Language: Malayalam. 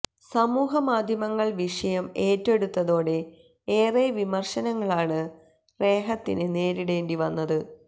സമൂഹമാധ്യമങ്ങൾ വിഷയം ഏറ്റെടുത്തതോടെ ഏറെ വിമർശനങ്ങളാണ് റേഹത്തിന് നേരിടേണ്ടി വന്നത്